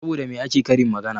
Saboda me ake karin magana?